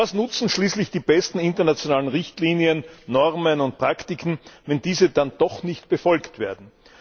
Was nutzen schließlich die besten internationalen Richtlinien, Normen und Praktiken, wenn diese dann doch nicht befolgt werden?